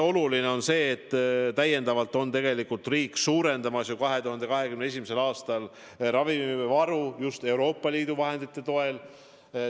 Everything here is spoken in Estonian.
Ja mis on veel oluline: riik suurendab täiendavalt 2021. aastal ravimivaru just Euroopa Liidu vahendite toel.